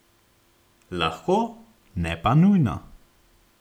Lahko, ne pa nujno.